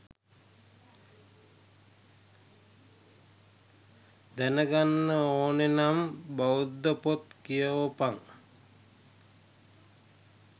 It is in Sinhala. දෙනගන්න ඕනේ නම් බෞද්ධ පොත් කියෝපන්